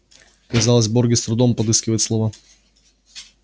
казалось богерт с трудом подыскивает слова